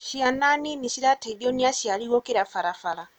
Cĩana nini cirateithio nĩ aciari gũkĩra barabara.